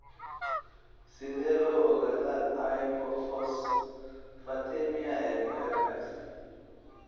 Sidee loo ogaadaa hypophosphatemia ee ku xiran X?